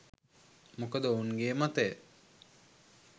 මොකද ඔවුන් ගේ මතය